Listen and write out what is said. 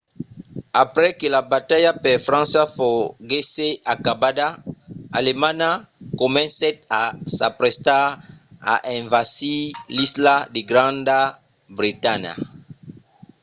aprèp que la batalha per frança foguèsse acabada alemanha comencèt a s'aprestar a envasir l’isla de granda bretanha